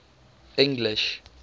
english